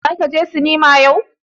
Zaka je sinima yau.